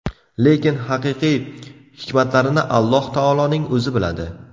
Lekin haqiqiy hikmatlarini Alloh taoloning O‘zi biladi.